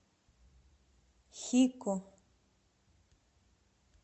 хико